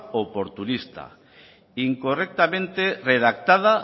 oportunista incorrectamente redactada